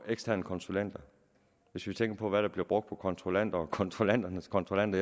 eksterne konsulenter og hvis vi tænker på hvad der bliver brugt på kontrollanter og kontrollanternes kontrollanter